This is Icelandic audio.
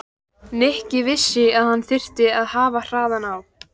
Nikki vissi að hann þyrfti að hafa hraðann á.